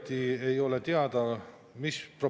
Ma ei saa mitte kuidagi sellega nõustuda ja ma ei saa sellest aru.